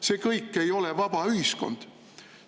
See kõik ei ole vaba ühiskond.